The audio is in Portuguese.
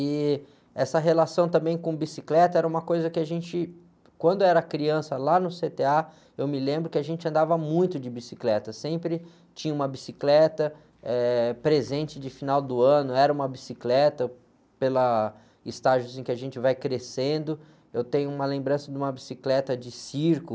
E essa relação também com bicicleta era uma coisa que a gente, quando era criança lá no cê-tê-á, eu me lembro que a gente andava muito de bicicleta, sempre tinha uma bicicleta, eh, presente de final do ano, era uma bicicleta, pela, estágios em que a gente vai crescendo, eu tenho uma lembrança de uma bicicleta de circo,